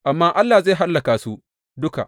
Amma Allah zai hallaka su duka.